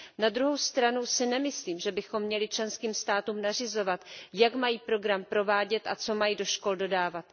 Na druhou stranu si nemyslím, že bychom měli členským státům nařizovat, jak mají program provádět a co mají do škol dodávat.